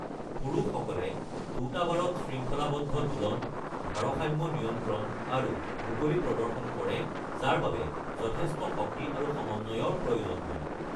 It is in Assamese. পুৰুষসকলে দুটা বাৰত শৃংখলাবদ্ধ দোলন, ভাৰসাম্য নিয়ন্ত্ৰণ আৰু মুকলি প্ৰদৰ্শন কৰে যাৰ বাবে যথেষ্ট শক্তি আৰু সমন্বয়ৰ প্ৰয়োজন হয়